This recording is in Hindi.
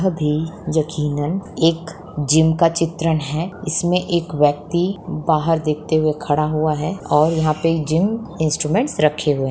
अभी यकीनन एक जीम का चित्रण है इसमें एक व्यक्ति देखते हुए खड़ा हुआ है और यहाँ पे जीम इंस्ट्रूमेंट्स रखे हुए--